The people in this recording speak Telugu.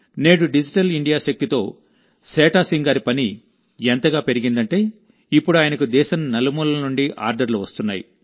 నేడుడిజిటల్ ఇండియా శక్తితోసేఠా సింగ్ గారి పని ఎంతగా పెరిగిందంటే ఇప్పుడు ఆయనకు దేశం నలుమూలల నుండి ఆర్డర్లు వస్తున్నాయి